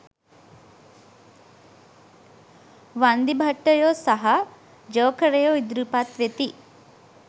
වන්දිභට්ටයෝ සහ ජෝකරයෝ ඉදිරිපත් වෙති.